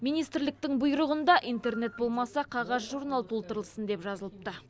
министрліктің бұйрығында интернет болмаса қағаз журнал толтырылсын деп жазылыпты